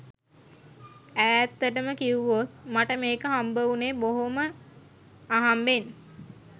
ඈත්තටම කිව්වොත් මට මේක හම්බවුණේ බොහොම අහම්බෙන්